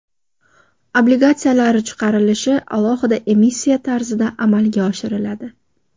Obligatsiyalar chiqarilishi alohida emissiya tarzida amalga oshiriladi.